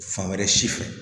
Fan wɛrɛ si fɛ